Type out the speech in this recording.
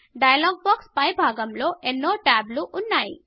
dialogue box పై భాగం లో ఎన్నో ట్యాబ్స్ ఉన్నాయి